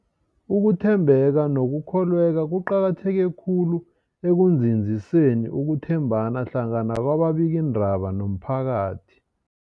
Ukuthembeka nokukholweka kuqakatheke khulu ekunzinziseni ukuthembana hlangana kwababikiindaba nomphakathi.